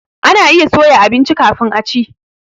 Ana iya soya abinci kafin a ci.